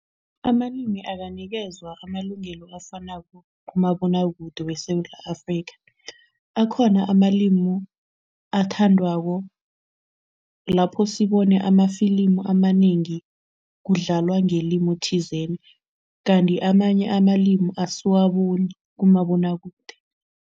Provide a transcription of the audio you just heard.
Amalimi akanikezwa amalungelo afanako kumabonwakude weSewula Afrika. Akhona amalimu athandwako, lapho sibone amafilimu amanengi kudlalwa ngelimu thizeni kanti amanye amalimi asiwaboni kumabonwakude.